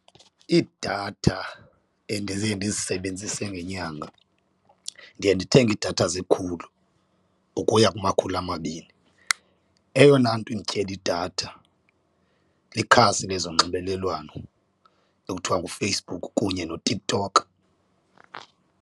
Iidatha endiye ndizisebenzise ngenyanga ndiye ndithenge idatha zekhulu ukuya kumakhulu amabini, eyona nto indityela idatha likhasi lezonxibelelwano ekuthiwa nguFacebook kunye noTikTok.